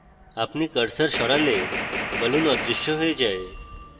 আপনি cursor সরালে balloon অদৃশ্য হয়ে যায়